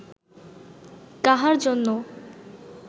কাহার জন্য